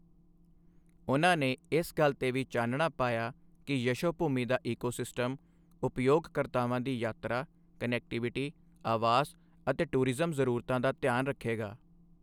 ਉਨ੍ਹਾਂ ਨੇ ਇਸ ਗੱਲ ਤੇ ਵੀ ਚਾਨਣਾ ਪਾਇਆ ਕਿ ਯਸ਼ੋਭੂਮੀ ਦਾ ਈਕੋਸਿਸਟਮ ਉਪਯੋਗਕਰਤਾਵਾਂ ਦੀ ਯਾਤਰਾ, ਕਨੈਕਟੀਵਿਟੀ, ਆਵਾਸ ਅਤੇ ਟੂਰਿਜ਼ਮ ਜ਼ਰੂਰਤਾਂ ਦਾ ਧਿਆਨ ਰੱਖੇਗਾ।